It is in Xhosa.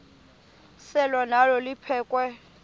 selwa nalo liphekhwe